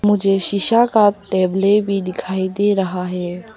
मुझे शीशा का टेबले भी दिखाई दे रहा है।